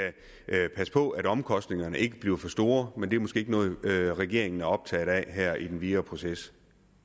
passe på at omkostningerne ikke bliver for store men det er måske ikke noget regeringen er optaget af her i den videre proces